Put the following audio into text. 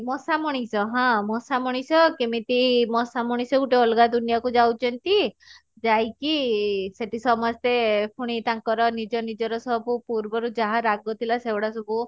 ମଶା ମଣିଷ ହଁ ମଶା ମଣିଷ କେମିତି ମଶା ମଣିଷ ଗୁଟେ ଅଲଗା ଦୁନିଆ କୁ ଯାଉଛନ୍ତି ଯାଇକି ସେଠି ସମସ୍ତେ ପୁଣି ତାଙ୍କର ନିଜ ନିଜର ସବୁ ପୂର୍ବରୁ ଯାହା ରାଗ ଥିଲା ସେଗୁଡା ସବୁ